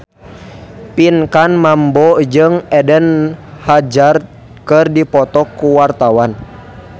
Pinkan Mambo jeung Eden Hazard keur dipoto ku wartawan